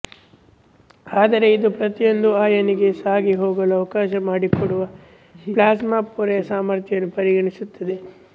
ಆದರೆ ಇದು ಪ್ರತಿಯೊಂದು ಅಯಾನಿಗೆ ಸಾಗಿಹೋಗಲು ಅವಕಾಶ ಮಾಡಿಕೊಡುವ ಪ್ಲಾಸ್ಮಾ ಪೊರೆಯ ಸಾಮರ್ಥ್ಯವನ್ನೂ ಪರಿಗಣಿಸುತ್ತದೆ